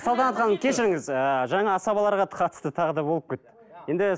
салтанат ханым кешіріңіз ыыы жаңа асабаларға қатысты тағы да болып кетті енді